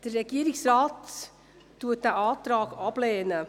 Der Regierungsrat lehnt diesen Antrag ab.